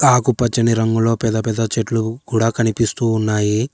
ఆకుపచ్చని రంగులో పెద్ద పెద్ద చెట్లు కూడా కనిపిస్తూ ఉన్నాయి.